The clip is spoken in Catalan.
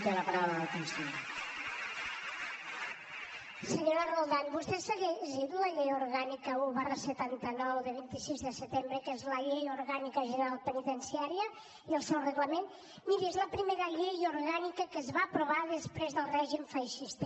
sí senyora roldán vostè s’ha llegit la llei orgànica un setanta nou de vint sis de setembre que és la llei orgànica general penitenciària i el seu reglament miri és la primera llei orgànica que es va aprovar després del règim feixista